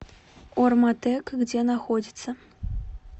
орматек где находится